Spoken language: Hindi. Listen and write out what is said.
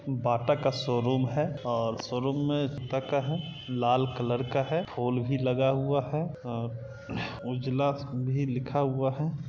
बाटा का शोरूम है ओर शोरूम मे अब तक हा लाल कलर का है फूल भी लगा हुआ है उजला भी लिखा हुआ है।